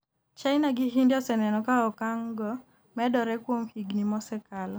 China gi India oseneno ka okang' go medore kuom higni mosekalo